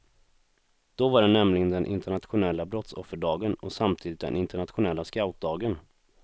Då var det nämligen den internationella brottsofferdagen och samtidigt den internationella scoutdagen.